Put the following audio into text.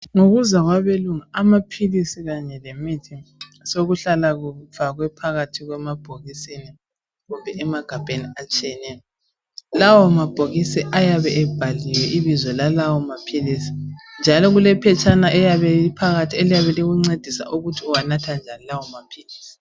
Ngokuza kwabelungu amaphilisi kanye lemithi sokuhlala kufakwe phakathi emabhokisini kumbe emagabheni atshiyeneyo lawa mabhokisi ayabe ebhaliwe ibizo lalawo maphilisi njalo kulephetshana eliyabe liphakathi eliyabe likuncedisa ukuthi uwanatha njani lawo maphilisi